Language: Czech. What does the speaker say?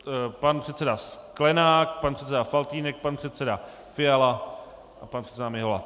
Pan předseda Sklenák, pan předseda Faltýnek, pan předseda Fiala a pan předseda Mihola.